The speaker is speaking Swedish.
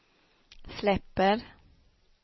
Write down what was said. släpper